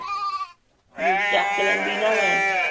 ਜੇ ਚੱਕ ਲੈਂਦੀ ਨਾ ਮੈਂ